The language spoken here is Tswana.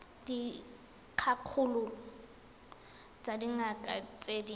dikgakololo tsa dingaka tse di